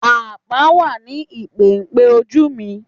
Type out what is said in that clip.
Àpá wà ní ìpéǹpéju mi